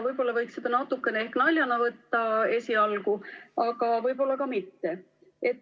Võib-olla võiks seda natukene ehk naljana võtta esialgu, aga võib-olla ka mitte.